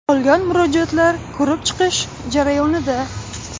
Qolgan murojaatlar ko‘rib chiqish jarayonida.